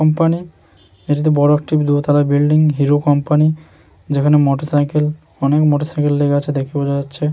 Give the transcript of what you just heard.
Company এটি বড় একটি দোতলা বিল্ডিং হিরো কোম্পানি যেখানে মোটর সাইকেল অনেক মোটর সাইকেল আছে দেখে বোঝা যাচ্ছে।